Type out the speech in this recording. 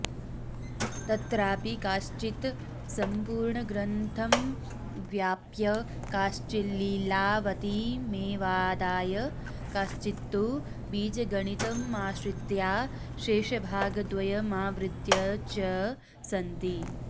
तत्रापि काश्चित सम्पूर्णग्रन्थमाव्याप्य काश्चिल्लीलावतीमेवादाय काश्चित्तु बीजगणितमाश्रित्या शेषभागद्वयमावृत्य च सन्ति